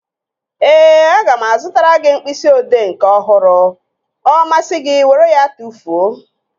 Ee, aga m azụtara gị mkpịsị odee nke ọhụrụ. Ọ masị gị were ya tụfuo